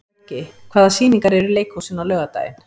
Röggi, hvaða sýningar eru í leikhúsinu á laugardaginn?